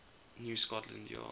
new scotland yard